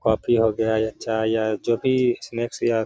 Coffee हो गया या चाय या जो भी स्नैक्स हो या।